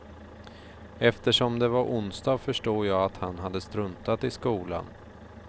Eftersom det var onsdag, förstod jag att han hade struntat i skolan.